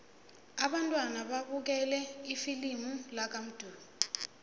abantwana babukele ifilimu lakamdu